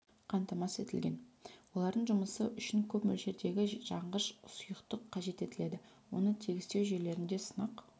қамтамасыз етілген олардың жұмысы үшін көп мөлшердегі жанғыш сұйықтық қажет етіледі оны тегістеу жүйелерінде сынақ